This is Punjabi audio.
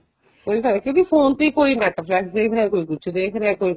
ਕੋਈ ਫਾਇਦਾ ਨਹੀਂ ਕਿਉਂਕਿ phone ਤੇ ਕੋਈ netflix ਦੇਖ ਰਿਹਾ ਕੋਈ ਕੁੱਛ ਦੇਖ ਰਿਹਾ ਕੋਈ ਕੁੱਛ